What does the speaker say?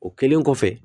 O kɛlen kɔfɛ